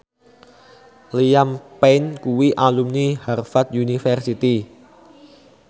Liam Payne kuwi alumni Harvard university